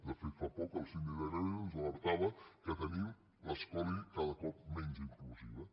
de fet fa poc el síndic de greuges ens alertava que tenim l’escola cada cop menys inclusiva